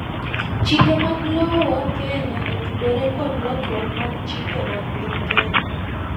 chike mag lowo Kneya otudore kod lokruok mar chike mag piny Kenya